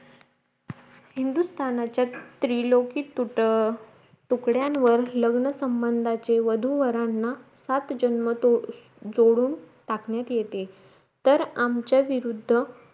हिंदुस्थानाच्या त्रिलोकीत तूट तुकड्यांवर लग्नसंबंदाचे वधू वरांना सात जन्म तो जोडून टाकण्यात येते तर आमचा विरुद्ध